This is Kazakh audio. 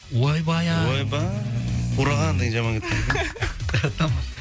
ойбай ай ойбай қураған деген жаман кетті ғой тамаша